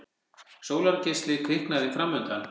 Sólargeisli kviknaði framundan.